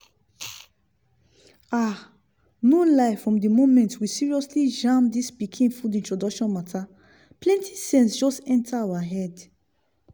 ah! no lie from di moment we seriously jam dis pikin food introduction matter plenti sense just enter our head